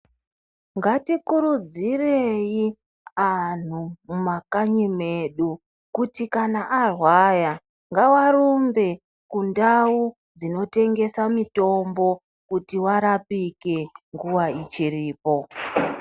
Ngatikurudzirei anhu mumakanyi mwedu kuti kana arwaya ngavarumbe kundau dzinotengesa mutombo kuti varapike nguwa ichiripo.